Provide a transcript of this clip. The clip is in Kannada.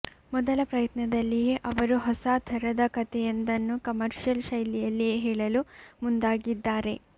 ಮೊದಲ ಪ್ರಯತ್ನದಲ್ಲಿಯೇ ಅವರು ಹೊಸಾ ಥರದ ಕಥೆಯೊಂದನ್ನು ಕಮರ್ಶಿಯಲ್ ಶೈಲಿಯಲ್ಲಿಯೇ ಹೇಳಲು ಮುಂದಾಗಿದ್ದಾರೆ